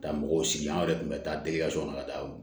Ka mɔgɔw sigi an yɛrɛ kun bɛ taa kɔnɔ ka taa